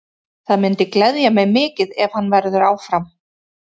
Það myndi gleðja mig mikið ef hann verður áfram.